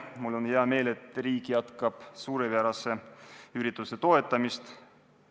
Mul on hea meel, et riik jätkab selle suurepärase ürituse toetamist.